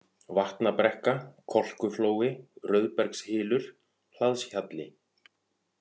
Vatnabrekka, Kolkuflói, Rauðbergshylur, Hlaðshjalli